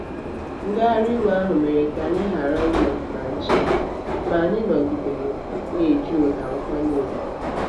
ngagharị iwe ahụ mere ka anyị ghara ịnọ na nche ma anyị nọgidere na-eji ụda nkwanye ùgwù.